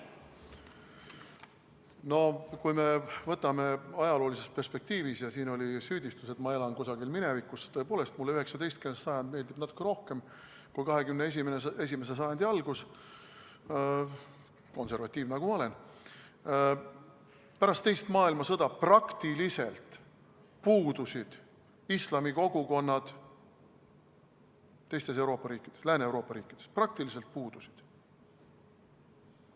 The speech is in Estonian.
Kui me võtame ajaloolises perspektiivis – siin oli süüdistus, et ma elan kusagil minevikus, ja tõepoolest, mulle 19. sajand meeldib natuke rohkem kui 21. sajandi algus, konservatiiv nagu ma olen –, siis pärast teist maailmasõda praktiliselt puudusid islamikogukonnad Lääne-Euroopa riikides, praktiliselt puudusid.